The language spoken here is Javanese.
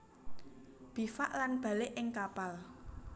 Bivak lan balik ing kapal